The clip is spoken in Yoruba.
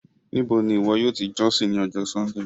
Níbò ni iwọ̀ yóò tì jọ̀ṣìn ni ọjọ́ Súndéé?